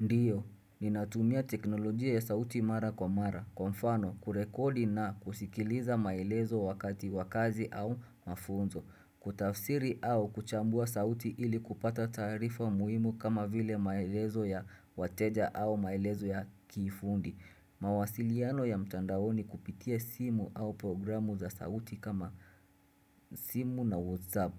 Ndiyo, ninatumia teknolojia ya sauti mara kwa mara. Kwa mfano, kurekodi na kusikiliza maelezo wakati wa kazi au mafunzo. Kutafsiri au kuchambua sauti ili kupata taarifa muhimu kama vile maelezo ya wateja au maelezo ya kifundi. Mawasiliano ya mtandaoni kupitia simu au programu za sauti kama simu na whatsapp.